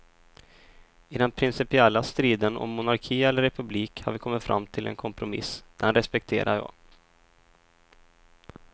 I den principiella striden om monarki eller republik har vi kommit fram till en kompromiss, den respekterar jag.